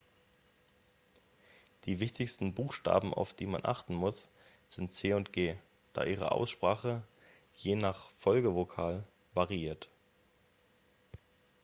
die wichtigsten buchstaben auf die man achten muss sind c und g da ihre aussprache je nach folgevokal variiert